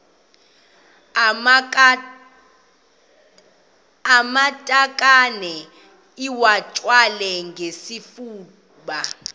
amatakane iwathwale ngesifuba